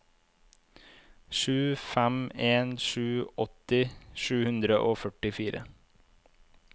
sju fem en sju åtti sju hundre og førtifire